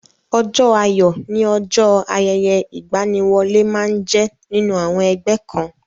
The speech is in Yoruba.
Ọjọ́ ayọ̀ ni ọjọ́ ayẹyẹ ìgbaniwọlé máa ń jẹ nínú àwọn ẹgbẹ́ kan.